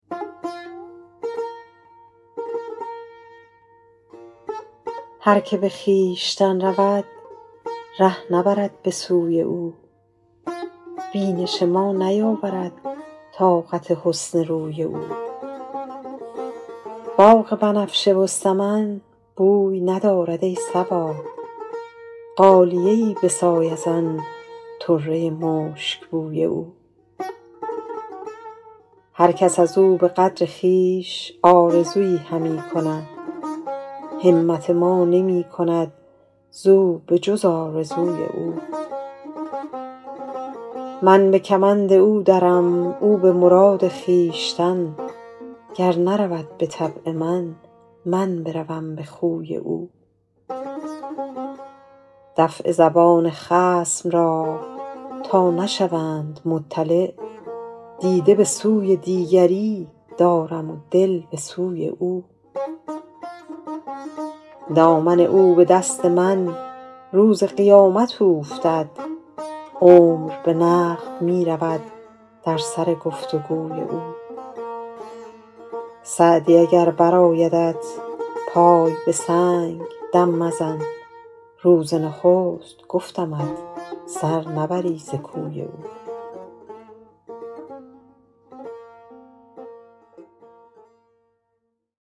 هر که به خویشتن رود ره نبرد به سوی او بینش ما نیاورد طاقت حسن روی او باغ بنفشه و سمن بوی ندارد ای صبا غالیه ای بساز از آن طره مشکبوی او هر کس از او به قدر خویش آرزویی همی کنند همت ما نمی کند زو به جز آرزوی او من به کمند او درم او به مراد خویشتن گر نرود به طبع من من بروم به خوی او دفع زبان خصم را تا نشوند مطلع دیده به سوی دیگری دارم و دل به سوی او دامن من به دست او روز قیامت اوفتد عمر به نقد می رود در سر گفت و گوی او سعدی اگر برآیدت پای به سنگ دم مزن روز نخست گفتمت سر نبری ز کوی او